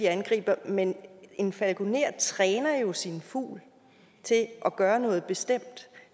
angriber men en falkoner træner jo sin fugl til at gøre noget bestemt